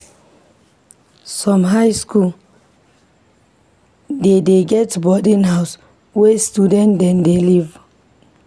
Some high skool dey get boarding house where student dem dey live.